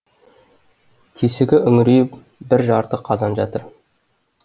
тесігі үңірейіп бір жарты қазан жатыр